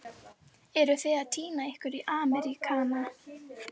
Eruð þið að týna ykkur í Ameríkana?